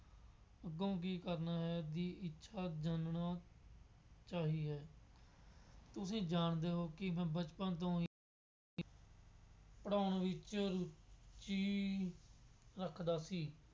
ਅੱਗੋਂ ਕੀ ਕਰਨਾ ਹੈ, ਦੀ ਇੱਛਾ ਜਾਣਨ ਚਾਹੀ ਹੈ। ਤੁਸੀਂ ਜਾਣਦੇ ਹੋ ਕਿ ਮੈਂ ਬਚਪਨ ਤੋਂ ਹੀ ਪੜ੍ਹਾਉਣ ਵਿੱਚ ਰੁਚੀ ਰੱਖਦਾ ਸੀ।